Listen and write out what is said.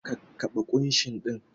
Kakkaɓe kushin ɗin!